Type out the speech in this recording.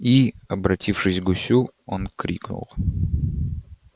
и обратившись к гусю он крикнул